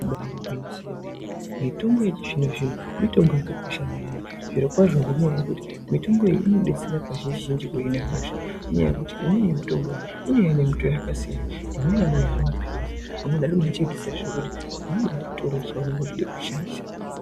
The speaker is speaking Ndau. Ibari gwinyiso yemene mitombo yechizvino zvino mitombo yakakosha maningi zvirokwazvo ngenyaya yekuti mitombo iyi inodetsera kazhinji zhinji kuhina hosha ngenyaya yekuti imweni mitombo iyi inouye ine mitowo yakasiyana imweni anonyore mapirizi amweni anochipisa zvekuti unobatora chaunenge uchide kushandisa.